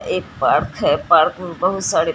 एक पार्क है पार्क में बहुत सारे--